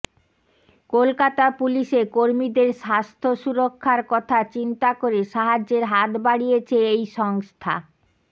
কলকাতা পুলিশে কর্মীদের স্বাথ্য সুরক্ষার কথা চিন্তা করে সাহায্যের হাত বাড়িয়েছে এই সংস্থা